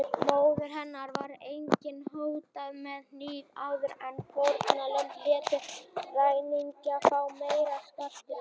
Móður hennar var einnig hótað með hníf áður en fórnarlömbin létu ræningjana fá meiri skartgripi.